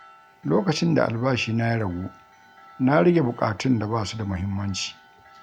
Lokacin da albashina ya ragu, na rage buƙatun da ba su da muhimmanci.